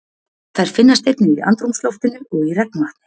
Þær finnast einnig í andrúmsloftinu og í regnvatni.